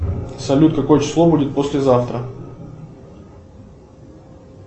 салют какое число будет послезавтра